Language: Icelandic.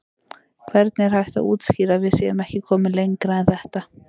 Hvernig er hægt að útskýra að við séum ekki komin lengra en þetta?